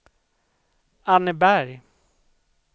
Anneberg